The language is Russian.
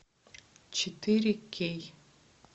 четыре кей